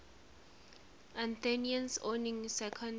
athenians owning second